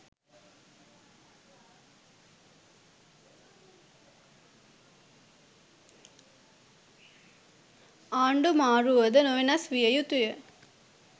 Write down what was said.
ආණ්ඩු මාරුවුවද නොවෙනස් වියයුතුය